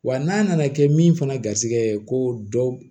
Wa n'a nana kɛ min fana garisigɛ ko dɔ